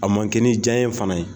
A man kɛ ni diya yen fana ye.